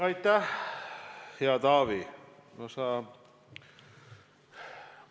Aitäh, hea Taavi!